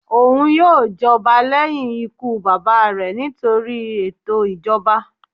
Oun yoo jọba lẹhin ikú baba rẹ nitori eto ijọba.